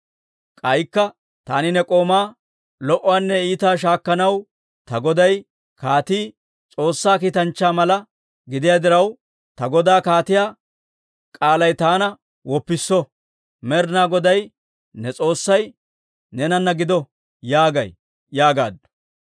K'aykka taani ne k'oomaa, ‹Lo"uwaanne iitaa shaakkanaw ta goday kaatii S'oossaa kiitanchcha mala gidiyaa diraw, ta godaa kaatiyaa k'aalay taana woppisso. Med'inaa Goday ne S'oossay neenana gido› yaagay» yaagaaddu.